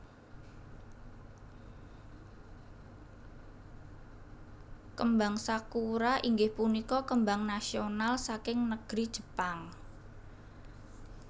Kembang Sakura inggih punika kembang nasional saking negri Jepang